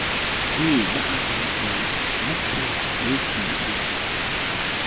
e baakantsweng ya pholesi e